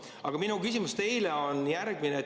Aga minu küsimus teile on järgmine.